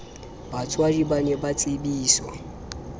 batswadi ba ne ba tsebiswe